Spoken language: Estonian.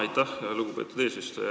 Aitäh, lugupeetud eesistuja!